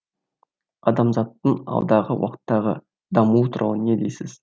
адамзаттың алдағы уақыттағы дамуы туралы не дейсіз